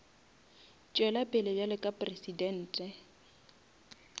tšwela pele bjalo ka presidente